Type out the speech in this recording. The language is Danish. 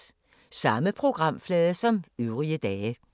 Samme programflade som øvrige dage